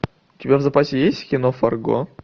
у тебя в запасе есть кино фарго